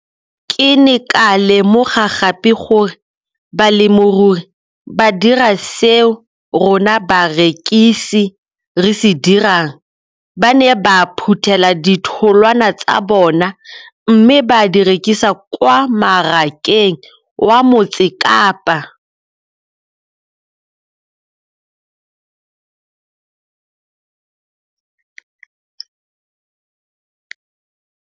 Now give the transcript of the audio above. Ke ne ka lemoga gape gore balemirui ba dira seo rona barekisi re se dirang - ba ne ba phuthela ditholwana tsa bona mme ba di rekisa kwa marakeng wa Motsekapa.